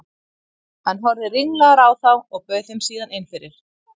Hann horfði ringlaður á þá og bauð þeim síðan inn fyrir.